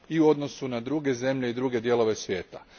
u odnosu na druge zemlje i druge dijelove svijeta.